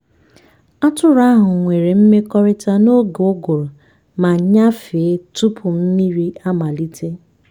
atụrụ ahụ nwere mmekọrịta n’oge uguru ma nnyafe tupu mmiri amalite.